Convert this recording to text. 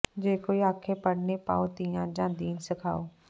ਜੇ ਕੋਈ ਆਖੇ ਪੜ੍ਹਨੇ ਪਾਓ ਧੀਆਂ ਯਾ ਦੀਨ ਸਿਖਾਓ